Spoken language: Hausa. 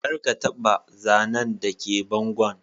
Kar ka taba zanan da ke bangon.